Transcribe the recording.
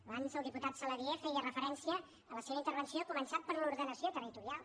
abans el diputat saladié hi feia referència a la seva intervenció ha començat per l’ordenació territorial